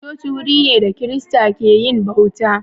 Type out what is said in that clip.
Coci wuri ne da kirista ke yin bauta.